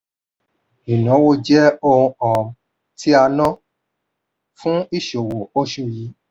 ìnáwó jẹ́ ohun um tí a ná fún ìṣòwò oṣù yìí.